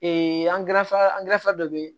angɛrɛfɛ angɛrɛ fɛ dɔ be yen